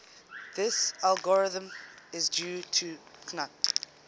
this algorithm is due to knuth